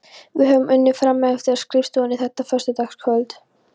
Við höfðum unnið frameftir á skrifstofunni þetta föstudagskvöld.